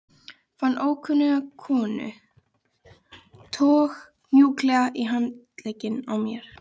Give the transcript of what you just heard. Fann ókunnu konuna toga mjúklega í handlegginn á mér